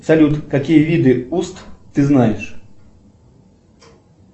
салют какие виды уст ты знаешь